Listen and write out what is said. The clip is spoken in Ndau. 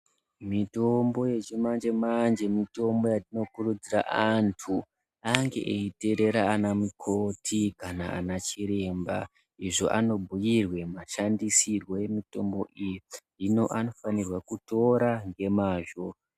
Mitombo yechimanje manje mitombo inokurudzirwa antu ange eiterera ana mukoti kana nanachiremba izvo vanobhuirwa mashandisire emitombo idzi hino vanofanirwe kutora nemazvo.